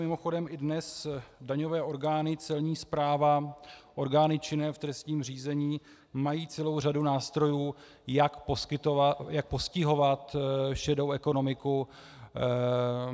Mimochodem i dnes daňové orgány, Celní správa, orgány činné v trestním řízení mají celou řadu nástrojů, jak postihovat šedou ekonomiku.